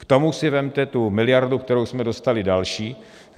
K tomu si vezměte tu miliardu, kterou jsme dostali další.